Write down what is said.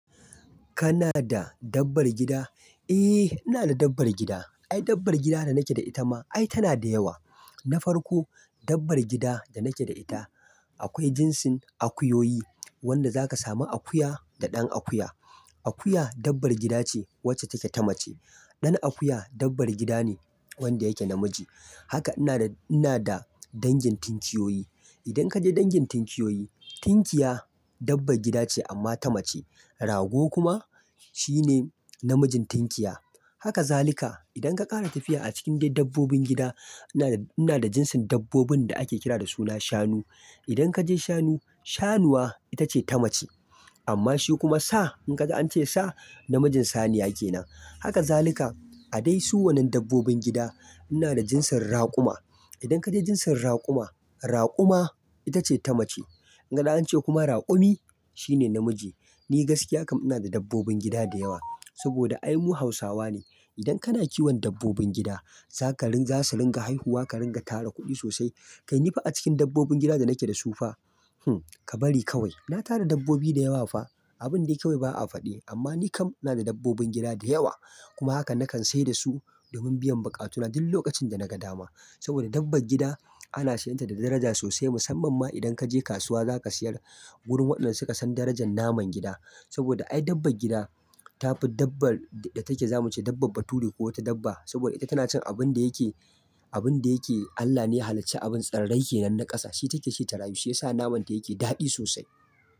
Kana da dabbar gida? Eh, ina da dabbar gida. Ai dabbar gida da nake da ita ma, ai tana da yawa. Na farko, dabbar gida da nake da ita akwai jinsin akuyoyi, wanda za ka sami akuya da ɗan akuya. Akuya dabbar gida ce wacce take ta mace. Ɗan akuya dabbar gida ne wanda yake namiji. Haka ina da, ina da dangin tinkiyoyi. Idan kaje dangin tinkiyoyi, tinkiya dabbar gida ce amma ta mace. Rago kuma shine namijin tinkiya. Haka zalika. Idan ka ƙara tafiya a cikin dai dabbobin gida, ina da, ina da jinsin dabbobin da ake kira da suna shanu. Idan kaje shanu, shanuwa ita ce ta mace. Amma shi kuma sa in ka ji an ce sa namijin saniya yake nan. Haka zalika. A dai su wanan dabbobin gida ina da jinsin raƙuma. Idan kaje jinsin raƙuma, raƙuma ita ce ta mace. In ka ji an ce kuma raƙumi shine namiji. Ni gaskiya kam ina da dabbobin gida da yawa. Saboda ai mu Hausawa ne. Idan kana kiwon dabbobin gida za ka rin-- za su ringa haihuwa ka ringa tara kuɗi sosai. Kai nifa a cikin dabbobin gida da nake da su fa, ka bari kawai. Na tara dabbobi da yawa fa. Abin da kawai ba a faɗi. Amma ni kam ina da dabbobin gida da yawa. Kuma haka nakan sayar da su domin biyan buƙatuna duk lokacin da naga dama. Saboda dabbar gida ana siyan ta da daraja sosai. Musamman ma idan kaje kasuwa za ka siyar wurin waɗanda suka san darajan naman gida. Saboda ai dabbar gida ta fi dabbar da take zamu ce dabbbar bature ko wata dabba. Saboda ita tana cin abin da yake, abin da yake Allah ne ya halacci abin tsirrai ke nan na ƙasa. Shi take shi ta rayu. Shi yasa naman ta yake daɗi sosai.